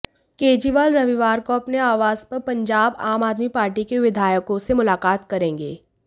केजरीवाल रविवार को अपने आवास पर पंजाब आम आदमी पार्टी के विधायकों से मुलाकात करेंगे